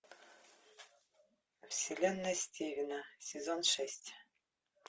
вселенная стивена сезон шесть